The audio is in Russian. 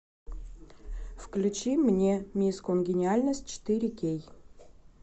включи мне мисс конгениальность четыре кей